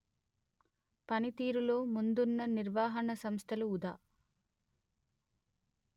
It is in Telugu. పనితీరులో ముందున్న నిర్వహణా సంస్థలు ఉదా